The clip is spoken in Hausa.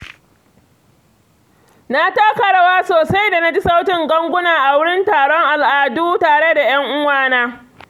Na taka rawa sosai da na ji sautin ganguna a wurin taron al’adu tare da ‘yan uwa na.